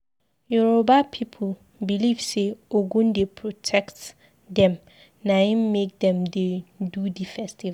Yoruba pipu beliv sey Ogun dey protect dem naim make dem dey do di festival.